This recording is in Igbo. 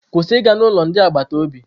Kwụsị ịga n'ụlọ ndị agbata obi!